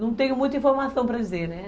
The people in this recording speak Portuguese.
Não tenho muita informação para dizer, né?